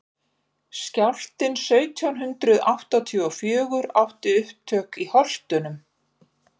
skjálftinn sautján hundrað áttatíu og fjögur átti upptök í holtum